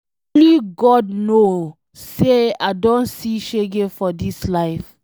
Only God know say I don see shege for dis life.